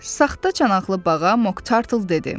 Saxta çanaqlı bağa Moktartl dedi: